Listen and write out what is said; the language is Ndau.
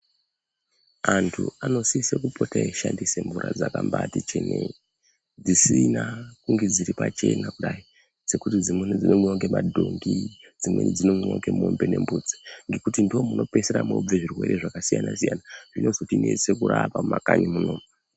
Anthu anosise kupota eishandisa mvura dzakmbaaati chenei dzisina kunge dziri pachena kudai dzekuti dzimweni dzinomwiwa ngemadhongi dzimweni dzinomwiwa ngemombe nembudzi ngekuti ndomunopeisira moobve zvirwere zvakasiyana siyana zvinotinese kurapa mumakanyi munomu.